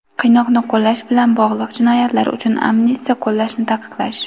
qiynoqni qo‘llash bilan bog‘liq jinoyatlar uchun amnistiya qo‘llashni taqiqlash;.